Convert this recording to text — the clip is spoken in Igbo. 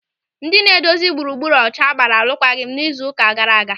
Ndị na-edozi gburugburu ọcha gbara arụkwaghịm n'izu ụka gaara aga.